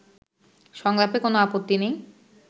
সংলাপে কোন আপত্তি নেই